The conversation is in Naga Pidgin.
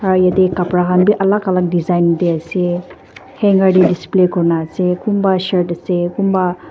ah yatey khapra khan bi alak alak design tey ase hanger tey display kurina ase kunba shirt ase kunba--